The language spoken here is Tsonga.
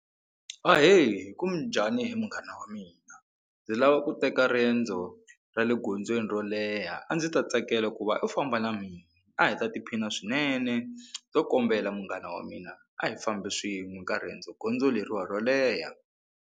Ahee kunjhani he munghana wa mina ndzi lava ku teka riendzo ra le gondzweni ro leha a ndzi ta tsakela ku va u famba na mina a hi ta tiphina swinene ndzo kombela munghana wa mina a hi fambi swin'we ka riendzo gondzo leriwa ro leha.